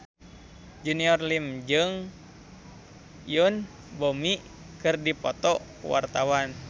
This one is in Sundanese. Junior Liem jeung Yoon Bomi keur dipoto ku wartawan